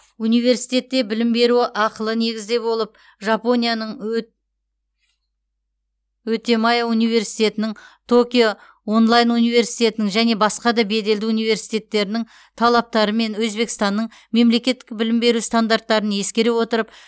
университетте білім беру ақылы негізде болып жапонияның отемае университетінің токио онлайн университетінің және басқа да беделді университеттерінің талаптары мен өзбекстанның мемлекеттік білім беру стандарттарын ескере отырып